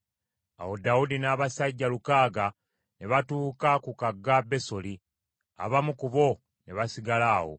Awo Dawudi n’abasajja lukaaga ne batuuka ku kagga Besoli, abamu ku bo ne basigala awo,